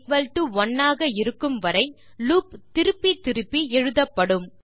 11 ஆக இருக்கும் வரை லூப் திருப்பி திருப்பி எழுதப்படும்